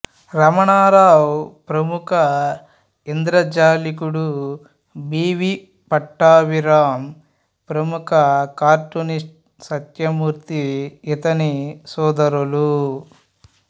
రమణారావు ప్రముఖ ఇంద్రజాలికుడు B V Pattabhiram ప్రముఖ కార్టూనిస్ట్ సత్యమూర్తి ఇతని సోదరులు